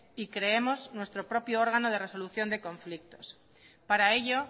y creemos nuestro propio órgano de resolución de conflictos para ello